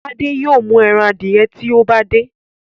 Tade yóò mú èràn adiẹ tí o bá de.